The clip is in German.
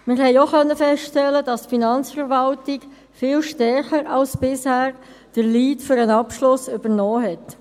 Wir konnten auch feststellen, dass die Finanzverwaltung viel stärker als bisher den Lead für den Abschluss übernommen hat.